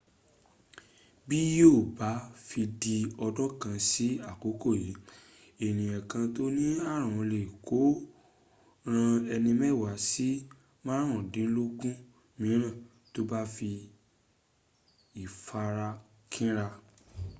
bí yíò bá fi di ọdún kan sí àkókò yìí ènìyàn kan tó ní ààrùn lè kó o ran ẹni mẹ́wàá sí márùndínlógún mííràn tó bá ní ìfarakínra